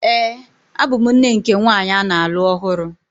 Ee, abụ m nne nke nwanyị a na-alụ ọhụrụ.